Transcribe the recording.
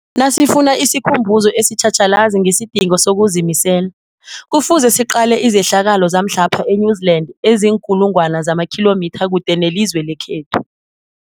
Nasifuna isikhumbuzo esitjhatjhalazi ngesidingo sokuzimisela, Kufuze siqale izehlakalo zamhlapha e-New Zealand eziinkulu ngwana zamakhilomitha kude nelizwe lekhethu.